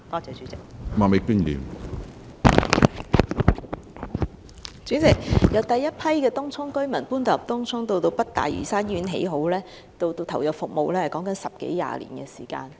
主席，由當局將第一批居民遷往東涌，及至北大嶼山醫院落成及投入服務，其間已經過十多二十年的時間。